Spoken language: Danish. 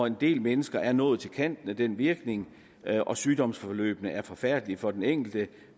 en del mennesker er nået til kanten af den virkning og sygdomsforløbet er forfærdeligt for den enkelte